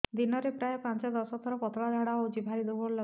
ଦିନରେ ପ୍ରାୟ ପାଞ୍ଚରୁ ଦଶ ଥର ପତଳା ଝାଡା ହଉଚି ଭାରି ଦୁର୍ବଳ ଲାଗୁଚି